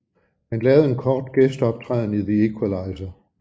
Han lavede en kort gæsteoptræden i The Equalizer